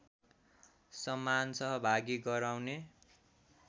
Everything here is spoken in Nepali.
समान सहभागी गराउने